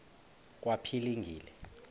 kwaphilingile